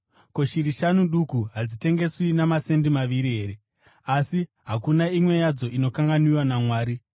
Ko, shiri shanu duku hadzitengeswi namasendi maviri here? Asi hakuna imwe yadzo inokanganwiwa naMwari.